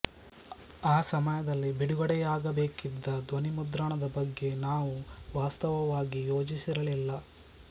ಆ ಸಮಯದಲ್ಲಿ ಬಿಡುಗಡೆಯಾಗಬೇಕಿದ್ದ ಧ್ವನಿಮುದ್ರಣದ ಬಗ್ಗೆ ನಾವು ವಾಸ್ತವವಾಗಿ ಯೋಜಿಸಿರಲಿಲ್ಲ